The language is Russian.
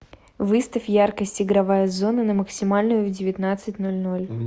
выставь яркость игровая зона на максимальную в девятнадцать ноль ноль